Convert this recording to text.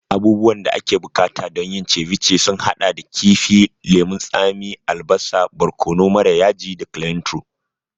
Abubuwan da ake buƙata don yin ceviche sun haɗa da kifi, lemun tsami, albasa, barkono mara yaji da cliantro.